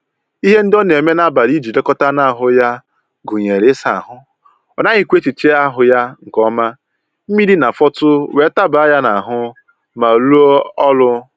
Ihe ndị ọ na-eme n'ablị iji lekọta anụ ahụ ya gụnyere ịsa ahụ, ọ naghịkwa ehicha ahụ ya nke ọma mmiri na-afọtụ wee taba ya n'ahụ ma rụọ ọrụ